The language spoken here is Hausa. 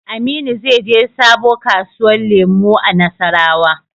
Aminu zai je sabo kasuwa lemu a nassarawa